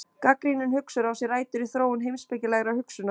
Gagnrýnin hugsun á sér rætur í þróun heimspekilegrar hugsunar.